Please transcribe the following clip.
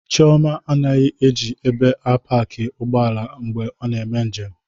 Chioma anaghị eji ebe a paki ụgbọala mgbe ị na-eme njem.